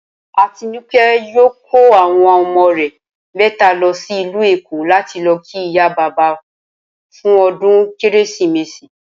Atinúké̩ yóò kó àwo̩n o̩mo̩ rè̩ mé̩tè̩è̩ta lo̩ sí ìlú Èkó láti lo̩ kí ìyá bàbá fún o̩dún kérésìmesì